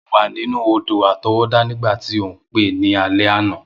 Mo wa ninu odò-àtọwọ́dá nígbàtí o n pe ni alẹ́ àná.